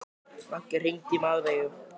Maggi, hringdu í Mjaðveigu.